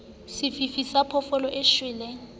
sefifi sa phoofolo e shweleng